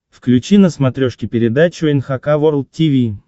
включи на смотрешке передачу эн эйч кей волд ти ви